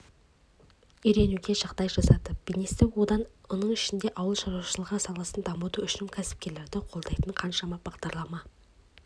үйренуге жағдай жасады бизнесті оның ішінде ауыл шаруашылығы саласын дамыту үшін кәсіпкерлерді қолдайтын қаншама бағдарлама